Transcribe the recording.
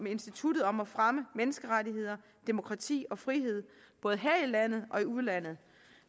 instituttet om at fremme menneskerettigheder demokrati og frihed både her i landet og i udlandet